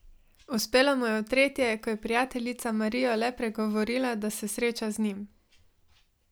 Uspelo mu je v tretje, ko je prijateljica Marijo le pregovorila, da se sreča z njim.